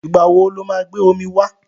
Ìgbà wo lo máa gbé omi wá?